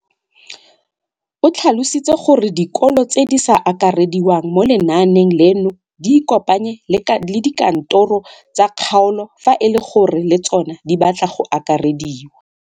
O tlhalositse gore dikolo tse di sa akarediwang mo lenaaneng leno di ikopanye le dikantoro tsa kgaolo fa e le gore le tsona di batla go akarediwa.